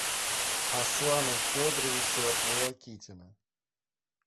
аслана федоровича волокитина